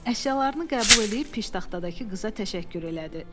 Əşyalarını qəbul eləyib piştaxtadakı qıza təşəkkür elədi.